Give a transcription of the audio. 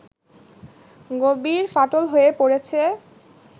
গভীর ফাটল হয়ে পড়েছে